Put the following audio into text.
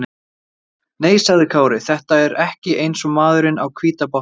Nei, sagði Kári, þetta var ekki eins og maðurinn á hvíta bátnum gerir.